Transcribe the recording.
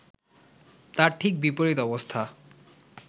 তার ঠিক বিপরীত অবস্থা